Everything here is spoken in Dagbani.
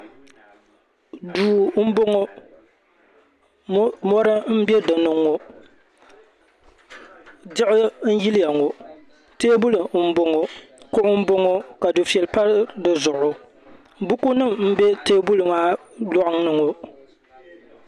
Duu m boŋɔ mori mbe dinni ŋɔ diɣi n yiliya ŋɔ teebuli mboŋɔ kuɣu mboŋɔ ka difeli pa di zuɣu bukunima m be teebuli maa loŋni ŋɔ